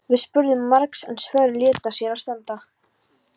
Við spurðum margs en svörin létu á sér standa.